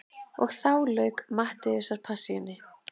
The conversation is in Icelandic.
Og þá lauk Mattheusarpassíunni.